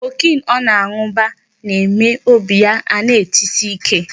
Cocaine ọ na-anụ ba-eme obi ya ana-etsi ike.